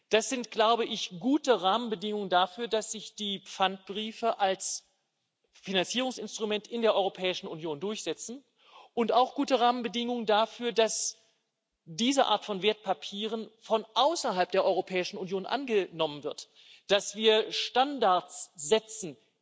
Das sind gute Rahmenbedingungen dafür, dass sich die Pfandbriefe als Finanzierungsinstrument in der Europäischen Union durchsetzen, und auch gute Rahmenbedingungen dafür, dass diese Art von Wertpapieren von außerhalb der Europäischen Union angenommen wird, dass wir international Standards setzen